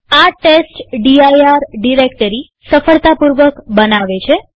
આ test D I R directory સફળતાપૂર્વક બનાવે છે